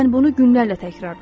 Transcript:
Mən bunu günlərlə təkrarlayırdım.